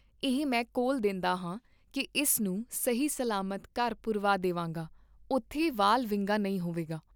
ਇਹ ਮੈਂ ਕੌਲ ਦੇ ਂਦਾ ਹਾਂ ਕੀ ਇਸ ਨੂੰ ਸਹੀ ਸਲਾਮਤ ਘਰ ਪੁਰਵਾ ਦੀਆਂਗਾ, ਓਥੇ ਵਾਲ ਵਿੰਗਾ ਨਹੀਂ ਹੋਵੇਗਾ।